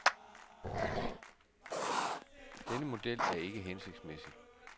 Denne model er ikke hensigtsmæssig.